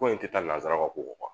Ko in tɛ taa nanzaraw ka ko kɔ